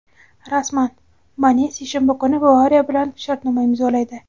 Rasman: Mane seshanba kuni "Bavariya" bilan shartnoma imzolaydi;.